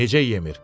Necə yemir?